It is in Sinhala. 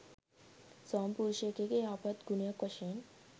ස්වාමිපුරුෂයෙකුගේ යහපත් ගුණයක් වශයෙන්